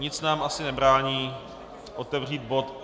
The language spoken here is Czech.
Nic nám asi nebrání otevřít bod